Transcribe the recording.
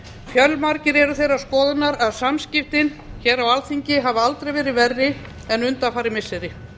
fjölmargir eru þeirrar skoðunar að samskiptin hér á alþingi hafi aldrei verið verri en undanfarin missiri